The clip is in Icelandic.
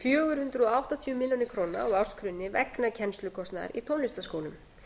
fjögur hundruð áttatíu milljónir króna á ársgrunni vegna kennslukostnaðar í tónlistarskólum